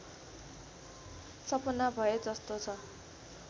सपना भए जस्तो छ